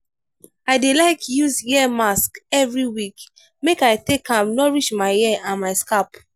i dey like use hair mask every week make i take am nourish my hair and my scalp.